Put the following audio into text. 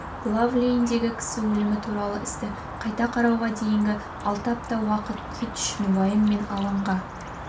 глав-лейндегі кісі өлімі туралы істі қайта қарауға дейінгі алты апта уақыт кит үшін уайым мен алаңға